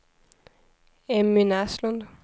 Emmy Näslund